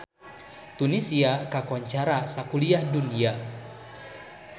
Tunisia kakoncara sakuliah dunya